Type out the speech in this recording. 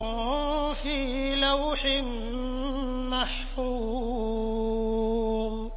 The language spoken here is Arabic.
فِي لَوْحٍ مَّحْفُوظٍ